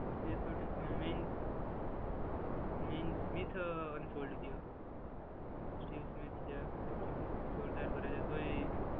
એ તો ઠીક means means with a unfold ગયો. સ્ટીવ બેટિંગ જોરદાર કરે છે. તોય